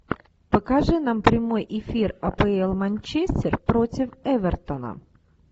покажи нам прямой эфир апл манчестер против эвертона